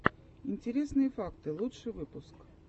интересные факты лучший выпуск